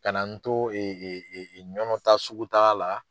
Kana na n to ƝƆNƆ taa sugutaa la.